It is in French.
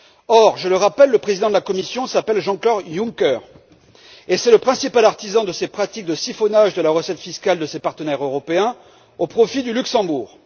Or, je le rappelle, le président de la Commission s'appelle Jean Claude Juncker, et c'est le principal artisan de ces pratiques de siphonage de la recette fiscale de ses partenaires européens au profit du Luxembourg.